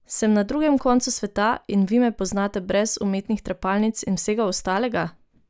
Sem na drugem koncu sveta in vi me poznate brez umetnih trepalnic in vsega ostalega?